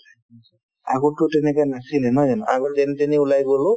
আগততো তেনেকুৱা নাছিলে নহয় জানো আগত যেনি তেনি ওলাই গ'লো